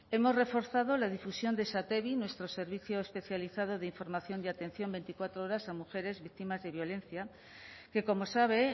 hemos reforzado la difusión de satevi nuestro servicio especializado de información y atención veinticuatro horas a mujeres víctimas de violencia que como sabe